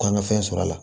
K'an ka fɛn sɔrɔ a la